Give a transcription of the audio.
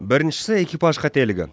біріншісі экипаж қателігі